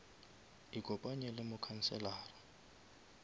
ikopanye le mokhanselara